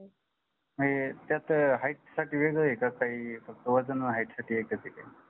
नाही त्यात height साठी वेगळं आहे का काही फक्त वजन height साठी एकच आहे काही